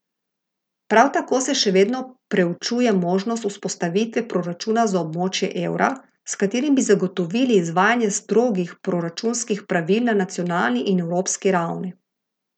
Prav tako se še vedno preučuje možnost vzpostavitve proračuna za območje evra, s katerim bi zagotovili izvajanje strogih proračunskih pravil na nacionalni in evropski ravni.